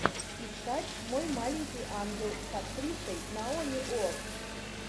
искать мой маленький ангел с актрисой наоми уотс